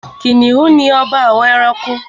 Kìnìún ni ọba àwọn ẹranko.